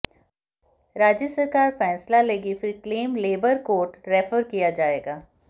राज्य सरकार फैसला लेगी फिर क्लेम लेबर कोट रेफर किया जाएगा